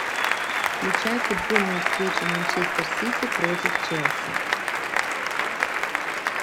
включай футбольную встречу манчестер сити против челси